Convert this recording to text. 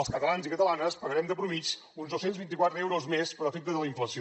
els catalans i catalanes pagarem de mitjana uns dos cents i vint quatre euros més per efecte de la inflació